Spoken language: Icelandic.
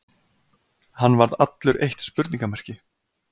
Hann varð allur eitt spurningarmerki.